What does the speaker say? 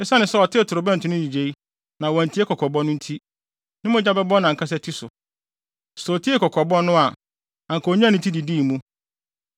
Esiane sɛ ɔtee torobɛnto no nnyigyei na wantie kɔkɔbɔ no nti, ne mogya bɛbɔ nʼankasa ti so. Sɛ otiee kɔkɔbɔ no a, anka onyaa ne ti didii mu.